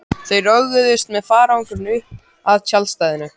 Þau roguðust með farangurinn upp að tjaldstæðinu.